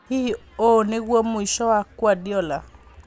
Hihi ũũ nĩguo mũico wa Kuardiola?